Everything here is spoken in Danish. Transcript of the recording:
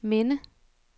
minde